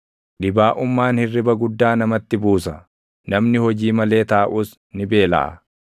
Dhibaaʼummaan hirriba guddaa namatti buusa; namni hojii malee taaʼus ni beelaʼa.